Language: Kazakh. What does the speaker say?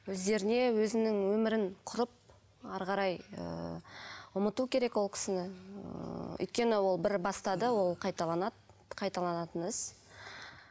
өздеріне өзінің өмірін құрып әрі қарай ыыы ұмыту керек ол кісіні ыыы өйткені ол бір бастады ол қайталанады қайталанатын іс